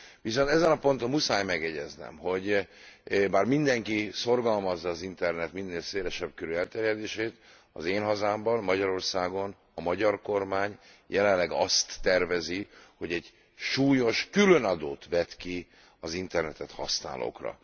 Viszont ezen a ponton muszáj megjegyeznem, hogy bár mindenki szorgalmazza az internet minél szélesebb körű elterjedését, az én hazámban, Magyarországon, a magyar kormány jelenleg azt tervezi, hogy egy súlyos különadót vet ki az internetet használókra.